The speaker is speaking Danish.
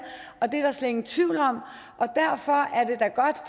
er der slet ingen tvivl om